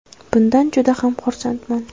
Bundan juda ham xursandman.